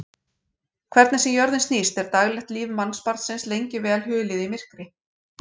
Hvernig sem jörðin snýst er daglegt líf mannsbarnsins lengi vel hulið í myrkri.